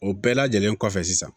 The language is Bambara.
O bɛɛ lajɛlen kɔfɛ sisan